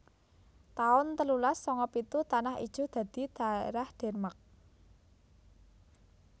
taun telulas sanga pitu Tanah Ijo dadi dhaerah Denmark